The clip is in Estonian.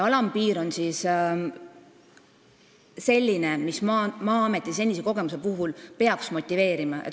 Alampiir on selline, mis Maa-ameti senise kogemuse põhjal peaks motiveerima.